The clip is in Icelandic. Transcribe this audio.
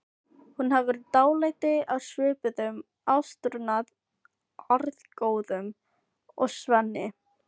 Hún hefur dálæti á svipuðum átrúnaðargoðum og Svenni.